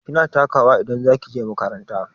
Kina taka wa idan za ki je makaranta?